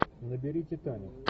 набери титаник